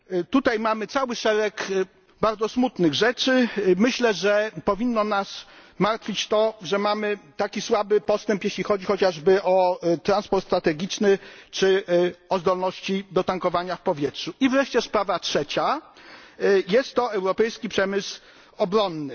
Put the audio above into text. Tutaj mamy cały szereg bardzo smutnych kwestii, i myślę, że powinno nas martwić to, że postęp jest taki słaby, jeśli chodzi chociażby o transport strategiczny czy zdolności do tankowania w powietrzu. I wreszcie sprawa trzecia jest to europejski przemysł obronny.